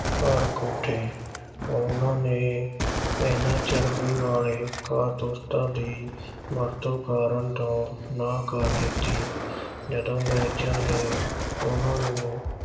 ਭੜਕ ਉੱਠੇ। ਉਨ੍ਹਾਂ ਨੇ ਇਨ੍ਹਾਂ ਚਰਬੀ ਵਾਲੇ ਕਾਰਤੂਸਾਂ ਦੀ ਵਰਤੋਂ ਕਰਨ ਤੋਂ ਨਾਂਹ ਕਰ ਦਿੱਤੀ। ਜਦੋਂ ਅੰਗਰੇਜ਼ਾਂ ਨੇ ਉਨ੍ਹਾਂ ਨੂੰ